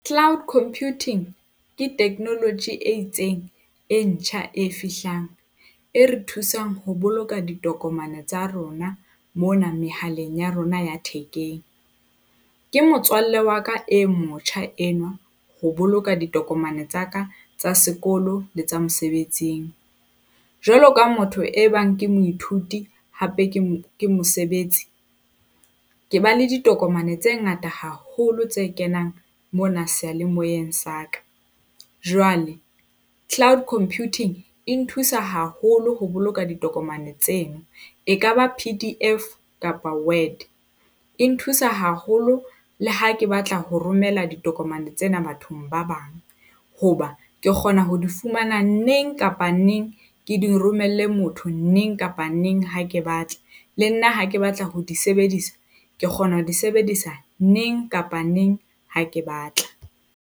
Cloud computing ke technology e itseng e ntjha e fihlang e re thusang ho boloka ditokomane tsa rona mona mehaleng ya rona ya thekeng. Ke motswalle wa ka e motjha enwa ho boloka ditokomane tsa ka, tsa sekolo le tsa mosebetsing. Jwalo ka motho ebang ke moithuti hape ke ke mosebetsi, ke ba le ditokomane tse ngata haholo tse kenang mona seyalemoyeng sa ka. Jwale cloud computing e nthusa haholo ho boloka ditokomane tseno, ekaba PDF kapa Word, e nthusa haholo. Le ha ke batla ho romela ditokomane tsena bathong ba bang hoba ke kgona ho di fumana neng kapa neng ke di romelle motho neng kapa neng ha ke batla. Le nna ha ke batla ho di sebedisa, ke kgona ho di sebedisa neng kapa neng ha ke batla.